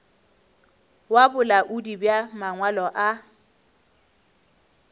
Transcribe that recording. wa bolaodi bja mangwalo a